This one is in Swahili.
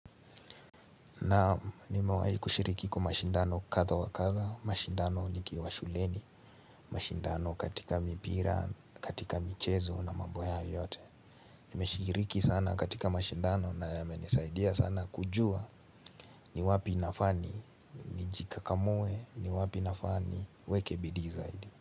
Naam nimewahi kushiriki kwa mashindano kadha wa kadha, mashindano nikiwa shuleni, mashindano katika mipira, katika michezo na mambo hayo yote Nimeshiriki sana katika mashindano na yamenisaidia sana kujua ni wapi nafaa ni, nijikakamue, ni wapi nafaa niweke bidii zaidi.